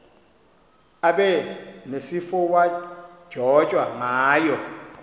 abe nesifowadyojwa ngayo